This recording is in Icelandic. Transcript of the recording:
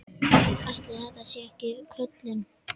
Ætli þetta sé ekki köllun?